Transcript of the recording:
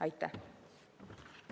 Aitäh!